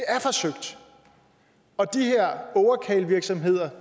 er forsøgt og de her ågerkarlevirksomheder